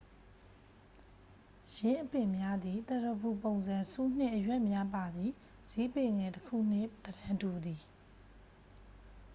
ယင်းအပင်များသည် သရဖူပုံစံ ဆူးနှင့် အရွက် များပါသည့် ဇီးပင်ငယ်တစ်ခုနှင့် သဏ္ဍန်တူသည်